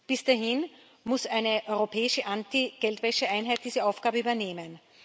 Bis dahin muss eine europäische Anti Geldwäscheeinheit diese Aufgabe übernehmen.